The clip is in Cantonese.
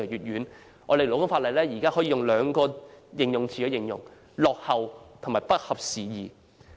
現行勞工法例可以用兩個詞語來形容——落後和不合時宜。